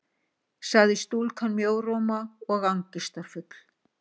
sagði stúlkan, mjóróma og angistarfull.